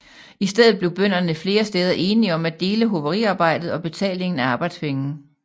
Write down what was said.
I stedet blev bønderne flere steder enige om at dele hoveriarbejdet og betalingen af arbejdspenge